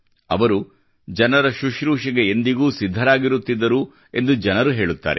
ಅವರು ಜನರ ಶುಶ್ರೂಷೆಗೆ ಎಂದಿಗೂ ಸಿದ್ಧರಾಗಿರುತ್ತಿದ್ದರು ಎಂದು ಜನರು ಹೇಳುತ್ತಾರೆ